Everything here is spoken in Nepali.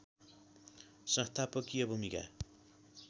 संस्थापकीय भूमिका